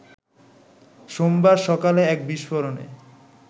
সোমবার সকালে এক বিস্ফোরণে